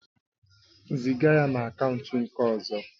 Ziga ya na akaụntụ nke ọzọ